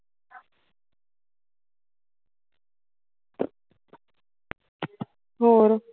ਹੋਰ